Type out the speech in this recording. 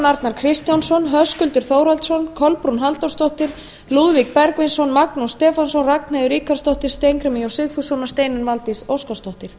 a kristjánsson höskuldur þórhallsson kolbrún halldórsdóttir lúðvík bergvinsson magnús stefánsson ragnheiður ríkharðsdóttir steingrímur j sigfússon steinunn valdís óskarsdóttir